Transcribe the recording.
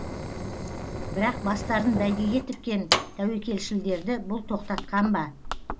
бірақ бастарын бәйгеге тіккен тәуекелшілдерді бұл тоқтатқан ба